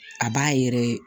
A b'a yɛrɛ